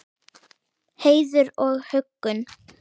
Heiður og huggun.